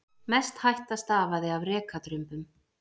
Mest hætta stafaði af rekadrumbum.